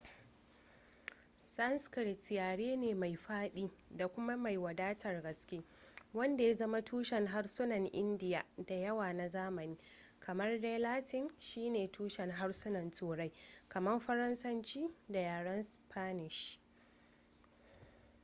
sanskrit yare ne mai fadi da kuma mai wadatar gaske wanda ya zama tushen harsunan indiya da yawa na zamani kamar dai latin shine tushen harsunan turai kamar faransanci da yaran spanish